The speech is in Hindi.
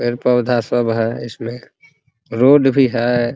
पेड़-पौधा सब हैइसमें रोड भी है ।